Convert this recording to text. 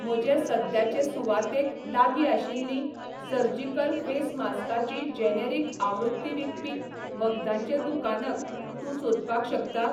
म्हजे सद्याचे सुवातेक लागीं आशिल्ली सर्जिकल फेस मास्काची जेनेरिक आवृत्ती विकपी वखदांचें दुकानक तूं सोदपाक शकता?